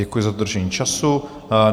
Děkuji za zadržení času.